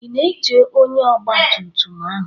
I na-eche ónyé ọgba tum tum ahụ?